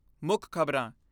ਮੁੱਖ ਖਬਰਾਂ